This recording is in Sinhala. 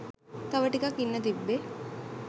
තව ටිකක් ඉන්න තිබ්බේ